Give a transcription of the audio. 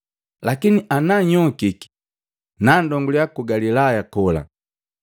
Lakini ana nhyokiki, nandongulya ku Galilaya kola.”